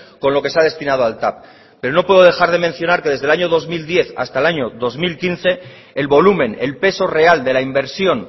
con lo que se ha destinado al tav pero no puedo dejar de mencionar que desde el año dos mil diez hasta el año dos mil quince el volumen el peso real de la inversión